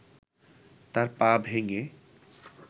তার পা ভেঙ্গে